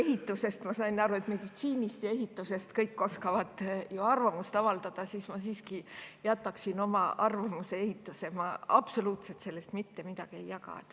Ja kuigi ma saan aru, et meditsiini ja ehituse kohta oskavad kõik arvamust avaldada, ma jätan siiski oma arvamuse ehitusest, sest sellest ma absoluutselt mitte midagi ei jaga.